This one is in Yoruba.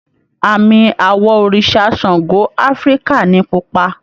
Àmì àwọ̀ òrìṣà Ṣàngó Áfíríkà ni pupa